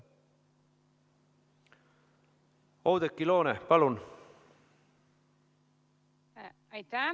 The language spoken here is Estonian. Oudekki Loone, palun!